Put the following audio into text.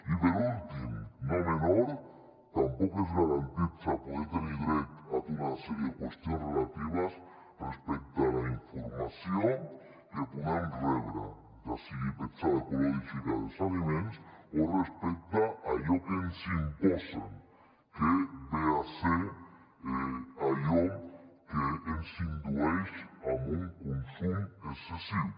i per últim no menor tampoc es garanteix poder tenir dret a tota una sèrie de qüestions relatives a la informació que podem rebre ja sigui petjada ecològica dels aliments o respecte a allò que ens imposen que ve a ser allò que ens indueix a un consum excessiu